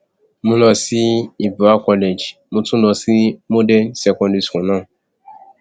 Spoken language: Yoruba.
mo lọ sí ibra college mo tún lọ sí model secondary school náà